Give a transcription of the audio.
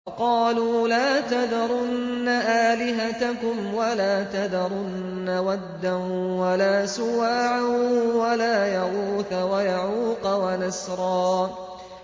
وَقَالُوا لَا تَذَرُنَّ آلِهَتَكُمْ وَلَا تَذَرُنَّ وَدًّا وَلَا سُوَاعًا وَلَا يَغُوثَ وَيَعُوقَ وَنَسْرًا